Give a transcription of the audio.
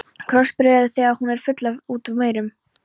Krossbregður þegar hún er full út úr dyrum.